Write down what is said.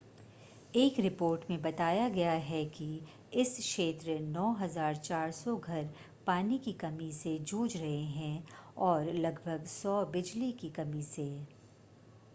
एक रिपोर्ट मे बताया गया है कि इस क्षेत्र 9400 घर पानी की कमी से जूझ रहे है और लगभग 100 बिजली की कमी से